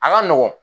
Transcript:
A ka nɔgɔn